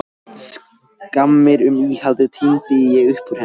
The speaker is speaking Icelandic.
Skammir um íhaldið tíndi ég upp úr